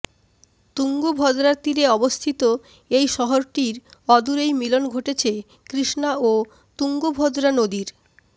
তুঙ্গভদ্রার তীরে অবস্থিত এই শহরটির অদূরেই মিলন ঘটেছে কৃষ্ণা ও তুঙ্গভদ্রা নদীর